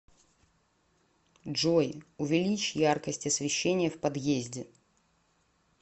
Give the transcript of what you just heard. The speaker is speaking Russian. джой увеличь яркость освещения в подъезде